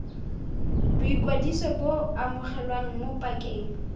boikwadiso bo amogelwa mo pakeng